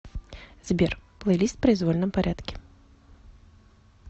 сбер плейлист в произвольном порядке